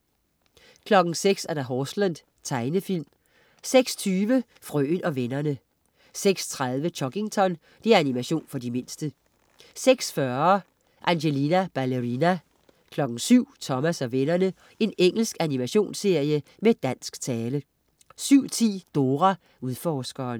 06.00 Horseland. Tegnefilm 06.20 Frøen og vennerne 06.30 Chuggington. Animation for de mindste 06.40 Angelina Ballerina. 07.00 Thomas & vennerne, Engelsk animationsserie, med dansk tale 07.10 Dora Udforskeren